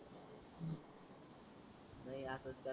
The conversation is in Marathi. नाही आस चाल